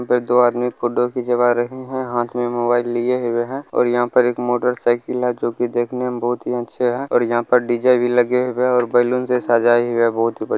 यहा पे दो आदमी फोटो खिंचवा रहे है हाथ में मोबाइल लिए हुए है और यहां पर एक मोटरसाइकिल है जो कि देखने में बहुत ही अच्छे है और यहां पर डी_जे भी लगे हुए है और बैलून से सजाई हुई है बहुत बढ़िया।